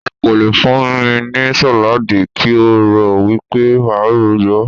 O kò le fún mi ní sàládì kí o rò wípé máa yó.